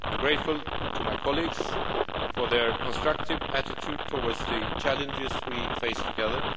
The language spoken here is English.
planet. I am grateful to my colleagues for their constructive attitude towards the challenges we face together.